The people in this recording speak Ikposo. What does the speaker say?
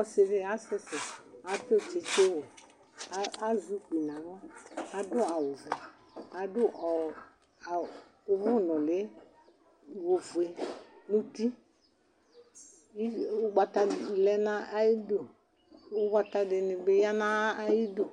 Ɔsidi asusi atʋ tsistsiwɛ azɛ ʋkpi nʋ aɣla adʋ awʋwla adʋ ʋwɔ nuli ofue nʋ ʋti ʋgbata lɛnʋ ayu idʋ ʋgbata dini bi yanʋbayʋ alɔ